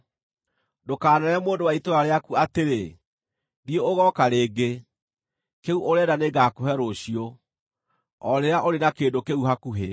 Ndũkaneere mũndũ wa itũũra rĩaku atĩrĩ, “Thiĩ ũgooka rĩngĩ; kĩu ũrenda nĩngakũhe rũciũ,” o rĩrĩa ũrĩ na kĩndũ kĩu hakuhĩ.